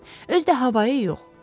Özü də havayı yox.